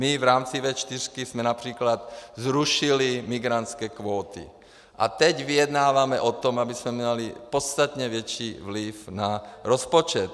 My v rámci V4 jsme například zrušili migrantské kvóty a teď vyjednáváme o tom, abychom měli podstatně větší vliv na rozpočet.